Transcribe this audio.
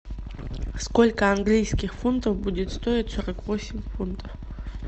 сколько английских фунтов будет стоить сорок восемь фунтов